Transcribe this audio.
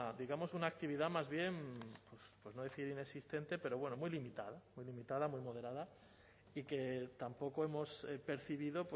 digamos una actividad más bien por no decir inexistente pero bueno muy limitada muy limitada muy moderada y que tampoco hemos percibido